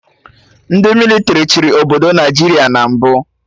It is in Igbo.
Ndị mịlịtrị chịrị obodo Naijiria na mbụ